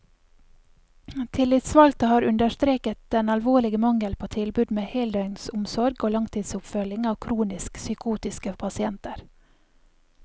Tillitsvalgte har understreket den alvorlige mangel på tilbud med heldøgnsomsorg og langtidsoppfølging av kronisk psykotiske pasienter.